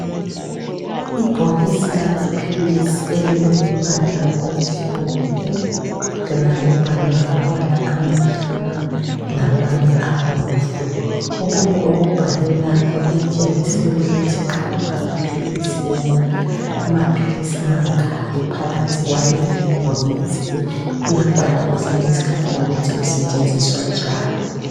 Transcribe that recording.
Ibhokisi lamaphilisi elilombala omhlophe lona libhalwe ngamabala amnyama lamanye abomvu. Okunye okubhalwe lapha kuyatshengisela ukuthi nxa kungamaphilisi wona amaphilisi mangaki kulelibhokisi. Kuyabhalwa kwesinye isikhathi lokuthi kusetshenziswa njani.